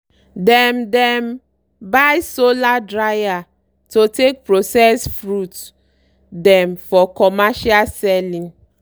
dem dem buy solar drier to take process fruit dem for commercial selling.